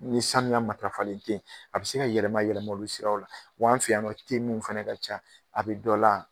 Ni sanuya matarafalen tɛ ye a bɛ se ka yɛlɛma yɛlɛma olu siraw la wa an fɛ yan nɔ teminw fana ka ca a bɛ dɔ la